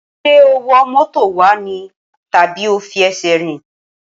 Ṣé o wọ mọ́tò wá ní tàbí o fi ẹsẹ̀ rìn?